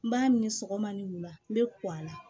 N b'a minɛ sɔgɔma ni wula n bɛ la